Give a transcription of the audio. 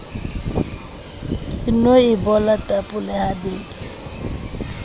ke no ebola tapole habedi